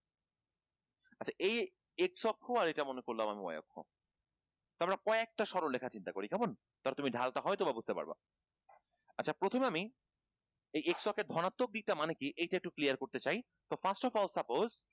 আচ্ছা এই x অক্ষ আর এটা মনে পড়লো তো আমরা কয়েক টা সরলরেখা চিন্তা করি কেমন? ধরো তুমি ঢাল টা হয়ত বা বুঝতে পারবা আচ্ছা প্রথমে আমি এই x অক্ষের ধনাত্বক দিক টা মানে কি এটা একটু clear করতে চাই first of all suppose